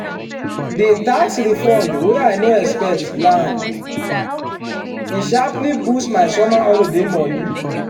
the tax refund wey i no expect land e sharply boost my summer holiday money.